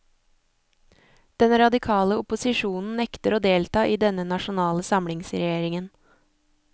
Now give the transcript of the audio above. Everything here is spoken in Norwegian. Den radikale opposisjonen nekter å delta i denne nasjonale samlingsregjeringen.